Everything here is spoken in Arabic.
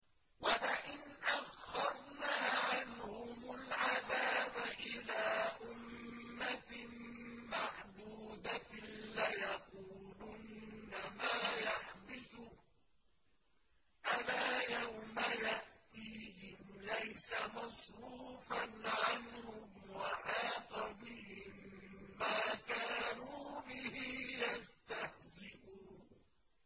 وَلَئِنْ أَخَّرْنَا عَنْهُمُ الْعَذَابَ إِلَىٰ أُمَّةٍ مَّعْدُودَةٍ لَّيَقُولُنَّ مَا يَحْبِسُهُ ۗ أَلَا يَوْمَ يَأْتِيهِمْ لَيْسَ مَصْرُوفًا عَنْهُمْ وَحَاقَ بِهِم مَّا كَانُوا بِهِ يَسْتَهْزِئُونَ